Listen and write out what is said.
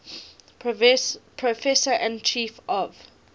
professor and chief of